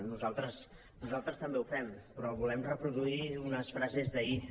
nosaltres també ho fem però volem reproduir unes frases d’ahir